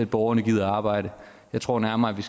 borgerne gider arbejde jeg tror nærmere at vi